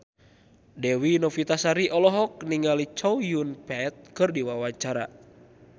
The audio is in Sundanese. Dewi Novitasari olohok ningali Chow Yun Fat keur diwawancara